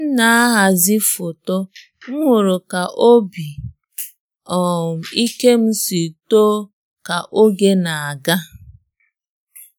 Mgbe m na-ahazi foto, m hụrụ ka obi um ike m si too ka oge na-aga.